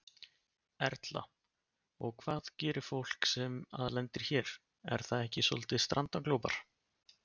Erla: Og hvað gerir fólk sem að lendir hér, er það ekki soldið strandaglópar?